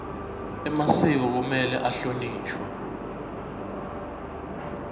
emasiko kumele ahlonishwe